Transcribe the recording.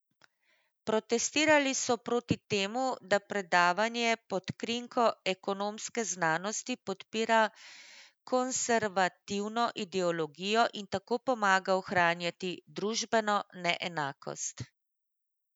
Protestirali so proti temu, da predavanje pod krinko ekonomske znanosti podpira konservativno ideologijo in tako pomaga ohranjati družbeno neenakost.